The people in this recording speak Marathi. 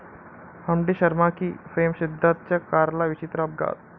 हम्टी शर्मा की...'फेम सिद्धार्थच्या कारला विचित्र अपघात